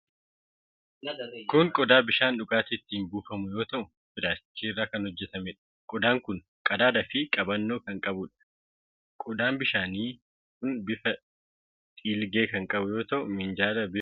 Kun qodaa bishaan dhugaatii itti buufamu yoo ta'u, pilaastikii irraa kan hojjetameedha. Qodaan kun qadaaqaa fi qabannoo kan qabuudha. Qodaan bishaanii kun bifa dhiilgee kan qabu yoo ta'u, minjaala bifa diimaa qabu irra kaa'amee jira.